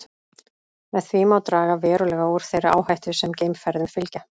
Með því má draga verulega úr þeirri áhættu sem geimferðum fylgja.